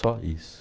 Só isso.